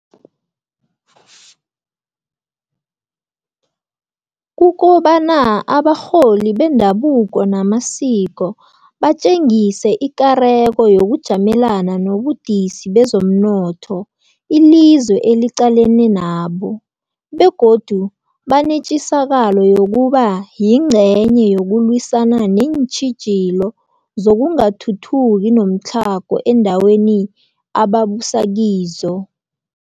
kukobana abarholi bendabuko namasiko batjengise ikareko yokujamelana nobudisi bezomnotho ilizwe eliqalane nabo, begodu banetjisakalo yokuba yingcenye yokulwisana neentjhijilo zokungathuthuki nomtlhago eendaweni ababusa kizo.